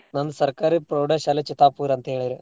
ನಂದ್ ಸರ್ಕಾರಿ ಪ್ರೌಡಶಾಲೆ ಚಿತ್ತಾಪುರ್ ಅಂತ್ಹೇಳೇರ.